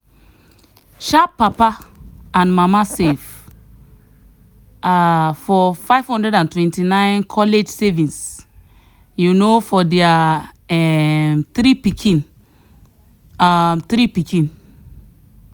sharp papa and mama save um for 529 college savings um for their um three pikin. um three pikin.